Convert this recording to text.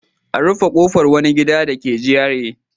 A rufe kofar wani gida dake GRA.